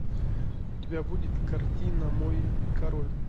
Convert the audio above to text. у тебя будет картина мой король